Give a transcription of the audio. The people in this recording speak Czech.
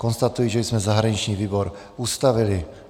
Konstatuji, že jsme zahraniční výbor ustavili.